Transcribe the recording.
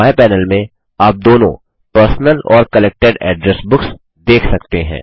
बाएँ पैनल में आप दोनों पर्सनल और कलेक्टेड एड्रेस बुक्स देख सकते हैं